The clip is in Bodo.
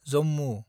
जम्मु